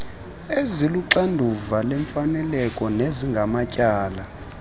eziluxanduva lemfaneleko nezingamatyala